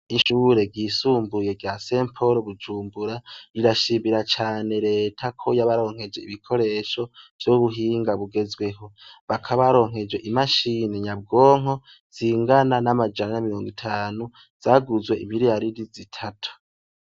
Ishure ryisumbuye ry'Umweranda Pawuro i Bujumbura, rirashimira cane leta ko yabaronkeje ibikoresho vy'ubuhinga bugezweho. Bakaba baronkejwe imashini nyabwonko zingana n'amajana ane na miriongo itanu zaguzwe imiriyariri zitatu.